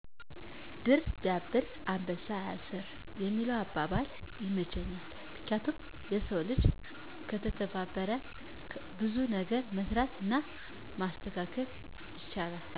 "ድር ቢያብር አንበሳ ያስር" የሚለው አባባል ይመቸኛል። ምክንያቱም የሰው ልጅ ከተተባበረ ብዙ ነገር መስራት እና ማስተካከል ይችላል።